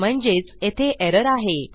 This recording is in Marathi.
म्हणजेच येथे एरर आहे